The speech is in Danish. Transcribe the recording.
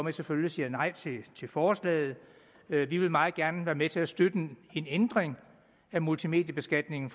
vi selvfølgelig stemmer nej til forslaget vi vil meget gerne være med til at støtte en ændring af multimediebeskatningen